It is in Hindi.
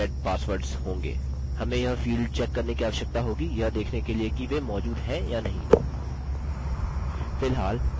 हमें यह फील्ड चेक करने की आवश्यकता होगी यह देखने के लिए कि वे मौजूद हैं या नहीं